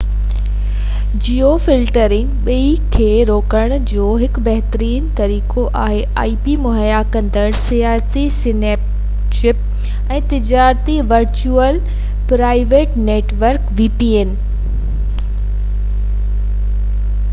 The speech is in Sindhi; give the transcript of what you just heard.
ذاتي vpn ورچوئل پرائيوٽ نيوٽورڪ مهيا ڪندڙ سياسي سينسرشپ ۽ تجارتي ip-جيوفلٽرنگ ٻني کي روڪڻ جو هڪ بهترين طريقو آهي